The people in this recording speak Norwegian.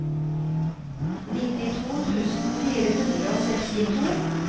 nittito tusen fire hundre og sekstito